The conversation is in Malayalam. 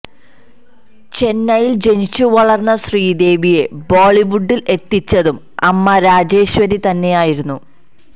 ചെന്നൈയിൽ ജനിച്ച വളർന്ന ശ്രീദേവിയെ ബോളിവുഡിൽ എത്തിച്ചതും അമ്മ രാജേശ്വരി തന്നെയായിരുന്നു